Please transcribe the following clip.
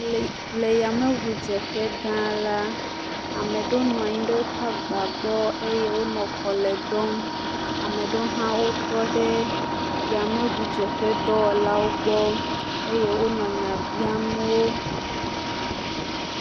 Le yameŋudzeƒe gã la, ame ɖewo nɔ anyi ɖe woƒe agbawo gbɔ eye wonɔ kɔlɔe dɔm, ame ɖewo hã wotɔ ɖe yameŋudzeƒe dɔwɔlawo gbɔ eye wonɔ nya biam wo.